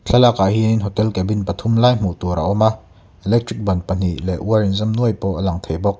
thlalak ah hianin hotel cabin pathum lai hmuh tur a awm a electric ban pahnih leh wire in zam nuai pawh a lang bawk.